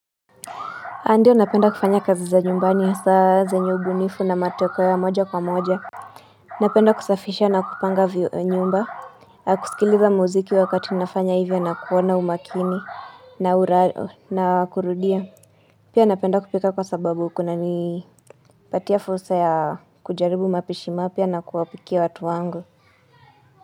Ndio napenda kufanya kazi za nyumbani hasaa zenye ubunifu na mateko ya moja kwa moja. Napenda kusafisha na kupanga nyumba. Kusikiliza muziki wakati nafanya hivyo na kuona umakini na kurudia. Pia napenda kupika kwa sababu kuna ni patia fursa ya kujaribu mapishi mapya na kuwapikia watu wangu.